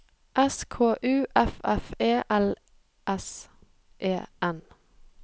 S K U F F E L S E N